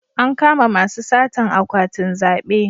An kama masu satan akwatin zabe